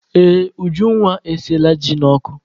Ee, Ujunwa esinyela ji n'ọkụ.